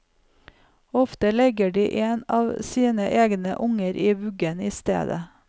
Ofte legger de en av sine egne unger i vuggen i stedet.